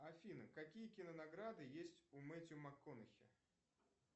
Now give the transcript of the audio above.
афина какие кинонаграды есть у метью макхонехи